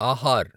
Aahar